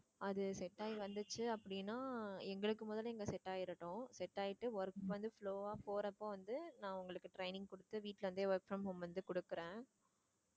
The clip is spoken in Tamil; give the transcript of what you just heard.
அது set ஆகி வந்துச்சு அப்படின்னா எங்களுக்கு முதல்ல இங்க set ஆயிரட்டும் set ஆயிட்டு work வந்து flow வா போறப்ப வந்து நான் உங்களுக்கு training கொடுத்து வீட்டுல இருந்தே work from home வந்து கொடுக்கிறேன்